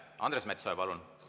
Andres Metsoja, palun!